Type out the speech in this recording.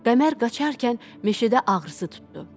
Qəmər qaçarkən meşədə ağrısı tuttu.